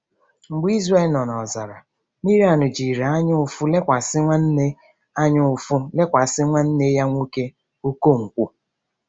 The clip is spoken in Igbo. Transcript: Mgbe Izrel nọ n’ọzara, Miriam jiri anyaụfụ lekwasị nwanne anyaụfụ lekwasị nwanne ya nwoke Okonkwo.